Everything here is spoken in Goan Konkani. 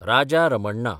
राजा रमण्णा